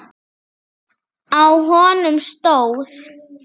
Á honum stóð